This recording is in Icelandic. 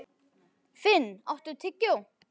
Finn, áttu tyggjó?